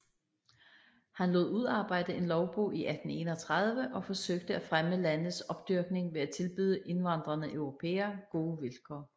Han lod udarbejde en lovbog i 1831 og forsøgte at fremme landets opdyrkning ved at tilbyde indvandrende europæere gode vilkår